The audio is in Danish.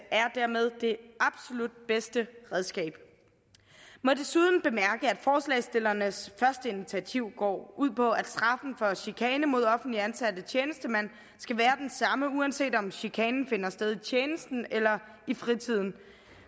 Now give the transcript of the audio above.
er dermed det absolut bedste redskab jeg må desuden bemærke at forslagsstillernes første initiativ går ud på at straffen for chikane mod offentligt ansatte tjenestemænd skal være den samme uanset om chikanen finder sted i tjenesten eller i fritiden